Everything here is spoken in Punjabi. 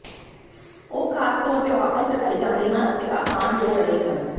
ਉਹ ਖਾਸ ਤੌਰ ਤੇ ਵਾਪਸ ਰੱਖੇ ਜਾਂਦੇ ਹਨ ਅਤੇ ਆਸਾਨ ਹੋ ਰਹੇ ਹਨ